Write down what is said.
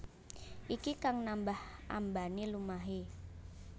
Iki kang nambah ambané lumahé